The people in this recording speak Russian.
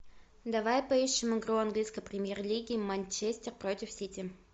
давай поищем игру английской премьер лиги манчестер против сити